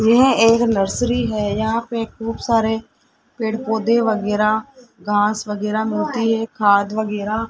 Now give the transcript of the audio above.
यह एक नर्सरी है यहां पे खूब सारे पेड़ पौधे वगैरह घास वगैरह मिलती है खाद वगैरह --